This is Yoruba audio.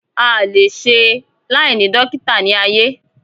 A à le e se láìní dókítà ní ayé